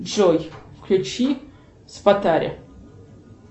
джой включи спатари